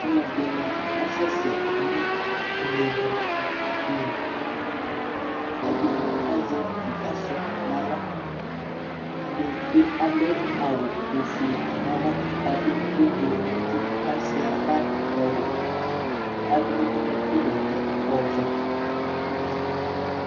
alʊɛdɩnɩ asɛ sɛ nʊ inewlu li, ɛdɩnɩ azɛ utuvegele n'aɣla, ɛdɩbɩ adʊ awu ofue n'ava, kʊ adʊ avavlitsɛ n'uti kʊ asuia itsuǝ nʊ idu kʊ adʊ unuku bɛtɛ ɔvɛ